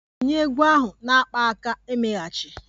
Tinye egwu ahụ na akpaaka-emeghachi!